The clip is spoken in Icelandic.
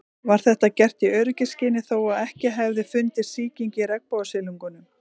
Var þetta gert í öryggisskyni þó að ekki hefði fundist sýking í regnbogasilungnum.